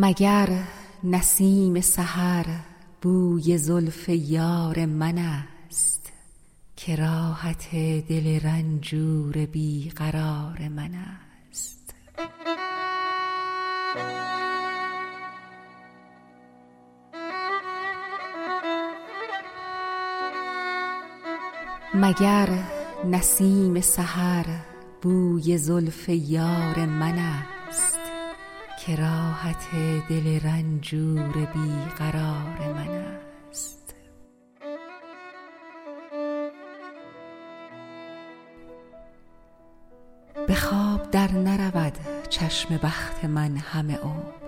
مگر نسیم سحر بوی زلف یار منست که راحت دل رنجور بی قرار منست به خواب در نرود چشم بخت من همه عمر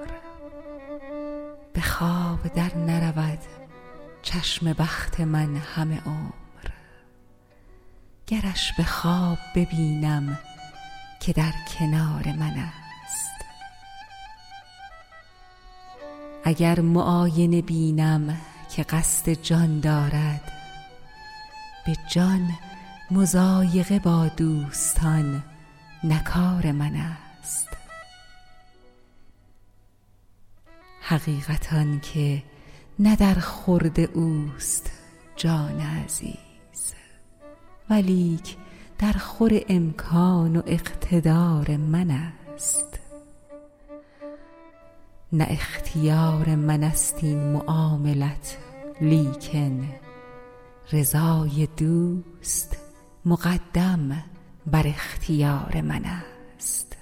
گرش به خواب ببینم که در کنار منست اگر معاینه بینم که قصد جان دارد به جان مضایقه با دوستان نه کار منست حقیقت آن که نه در خورد اوست جان عزیز ولیک درخور امکان و اقتدار منست نه اختیار منست این معاملت لیکن رضای دوست مقدم بر اختیار منست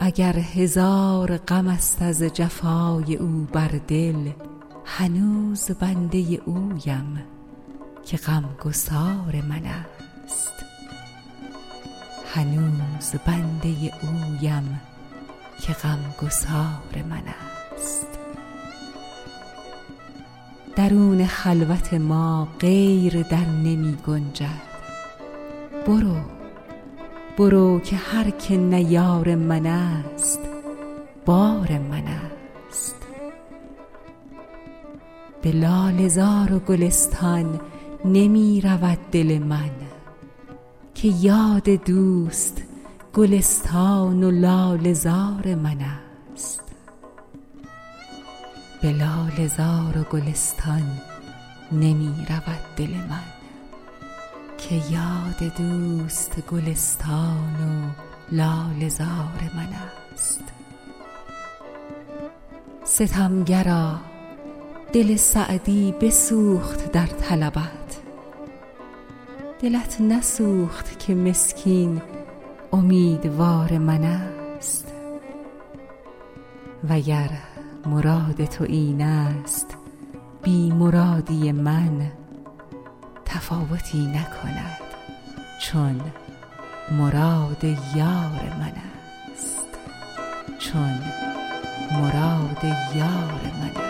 اگر هزار غمست از جفای او بر دل هنوز بنده اویم که غمگسار منست درون خلوت ما غیر در نمی گنجد برو که هر که نه یار منست بار منست به لاله زار و گلستان نمی رود دل من که یاد دوست گلستان و لاله زار منست ستمگرا دل سعدی بسوخت در طلبت دلت نسوخت که مسکین امیدوار منست و گر مراد تو اینست بی مرادی من تفاوتی نکند چون مراد یار منست